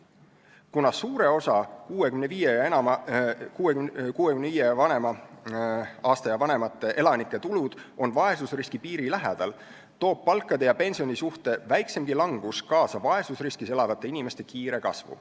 Kuna suure osa 65-aastaste ja vanemate elanike tulud on vaesusriskipiiri lähedal, toob palkade ja pensioni suhte väikseimgi langus kaasa vaesusriskis elavate inimeste kiire kasvu.